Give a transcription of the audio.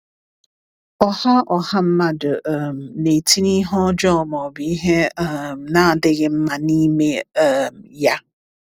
Ọ̀ha Ọ̀ha mmadụ um na-etinye ihe ọjọọ ma ọ bụ ihe um na-adịghị mma n’ime um ya?